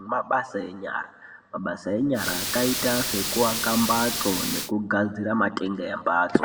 nemabasa enyara mabasa enyara akaita sekuwaka mbatso nekuwaka matenga embatso.